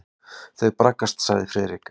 Þau braggast sagði Friðrik.